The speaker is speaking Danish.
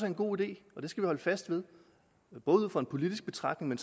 en god idé og det skal vi holde fast ved både ud fra en politisk betragtning og